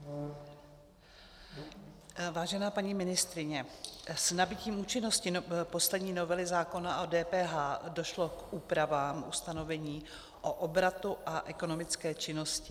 Vážená paní ministryně, s nabytím účinnosti poslední novely zákona o DPH došlo k úpravám ustanovení o obratu a ekonomické činnosti.